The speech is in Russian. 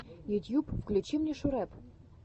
ютьюб включи мне шурэп